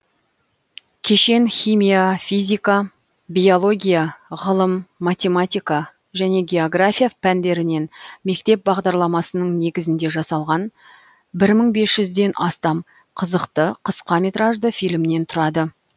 кешен химия физика биология ғылым математика және география пәндерінен мектеп бағдарламасының негізінде жасалған бір мың бес жүзден астам қызықты қысқа метражды фильмнен тұрады